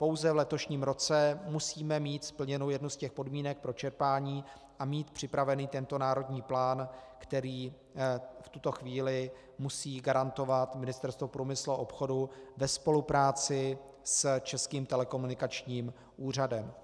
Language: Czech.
Pouze v letošním roce musíme mít splněnu jednu z těch podmínek pro čerpání a mít připravený tento národní plán, který v tuto chvíli musí garantovat Ministerstvo průmyslu a obchodu ve spolupráci s Českým telekomunikačním úřadem.